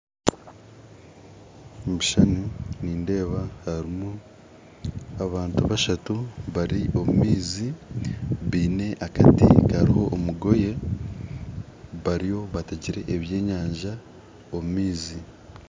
Omu kishushani nindeeba harimu abantu bashatu bari omu maizi baine akati karoho omugoye bariyo bategere ebyenyanja omu maizi